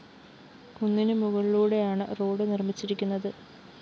കുന്നിനു മുകളിലൂടേയാണ് റോഡ്‌ നിര്‍മിച്ചിരിക്കുന്നത്